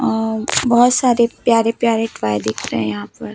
और बहोत सारे प्यारे प्यारे पाये दिख रहे हैं यहां पर--